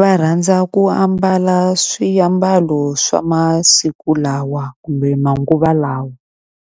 Va rhandza ku ambala swiambalo swa masiku lawa kumbe manguva lawa,